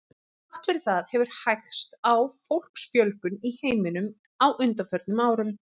Þrátt fyrir það hefur hægst á fólksfjölgun í heiminum á undanförnum árum.